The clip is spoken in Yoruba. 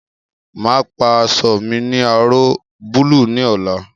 Máa pa aṣọ mi ní aró búlúù ní ọ̀la